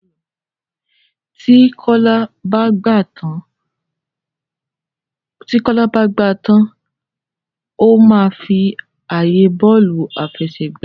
Tí Kola bá gbà tán o ma fí ààyè Bọ́ọ̀lù àfẹsẹ̀gbá.